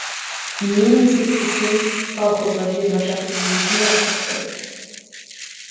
мен есептесем колхозға жиырма шақты бие жиналып қапты